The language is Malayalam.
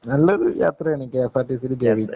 നല്ലൊരു യാത്രയാണ് കെഎസ്ആര്‍ടിസിയില്‍ ഗവിക്ക്